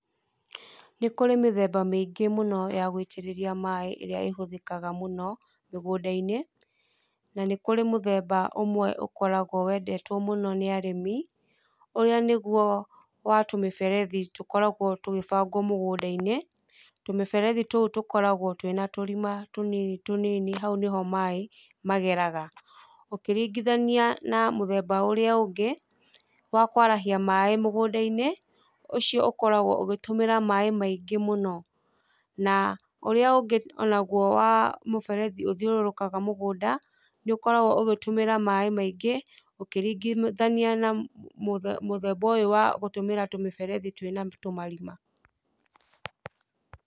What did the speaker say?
Nĩ kũrĩ mĩthemba mĩingĩ mũno ya gũitĩrĩria maaĩ ĩrĩa ĩhũthikaga mũno mĩgũnda-inĩ, na nĩ kũrĩ mũthemba ũmwe wendetwo mũno nĩ arĩmi, ũrĩa nĩguo wa tũmĩberethi tũkoragwo tũgĩbangwo mũgũnda-inĩ. Tumĩberethi tũu tũkoragwo twĩna tũrima tũnini tũnini hau nĩ ho maaĩ mageraga. Ũkĩringithania na mũthemba ũrĩa ũngĩ wa kũarahia maaĩ mũgũnda-inĩ, ũcio ũkoragwo ũkihuthĩra maaĩ maingĩ mũno na ũrĩa ũngĩ o naguo wa mũberethi ũthiũrũrũkaga mũgũnda nĩ ũkoragwo ugĩtũmĩra maaĩ maingĩ ukĩringithania na mũthemba ũyũ wa gũtũmĩra tũmĩberethi twĩ na tũmarima.